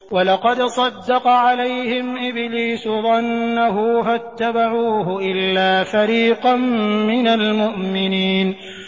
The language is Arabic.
وَلَقَدْ صَدَّقَ عَلَيْهِمْ إِبْلِيسُ ظَنَّهُ فَاتَّبَعُوهُ إِلَّا فَرِيقًا مِّنَ الْمُؤْمِنِينَ